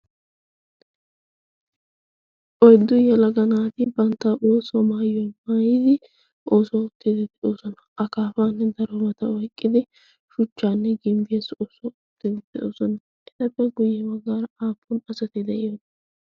oyddu yelaga naati bantta ooso maayuwa maayidi akaafaa oyqqidi shuchaa ootoosona. etappe guye bagaara aapun asati beetiyoonaa?